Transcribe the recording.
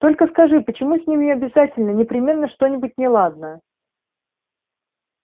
только скажи почему с ними обязательно непременно что-нибудь неладно